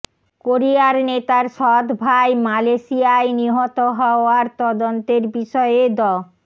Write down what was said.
কোরিয়ার নেতার সৎ ভাই মালয়েশিয়ায় নিহত হওয়ার তদন্তের বিষয়ে দ